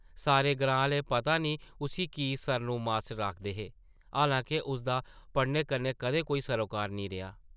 सारे ग्रां आह्ले पता नेईं उस्सी की ‘सरनू मास्टर’ आखदे हे, हालांके उसदा पढ़ाने कन्नै कदें कोई सरोकार नेईं रेहा ।